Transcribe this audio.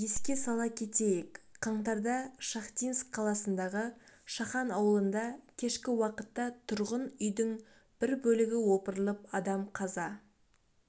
еске сала кетейік қаңтарда шахтинск қаласындағы шахан ауылында кешкі уақытта тұрғын үйдіңбір бөлігі опырылып адам қаза